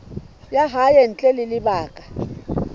ya hae ntle ho lebaka